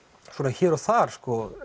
hér og þar